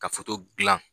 Ka gilan